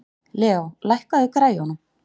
Leo, lækkaðu í græjunum.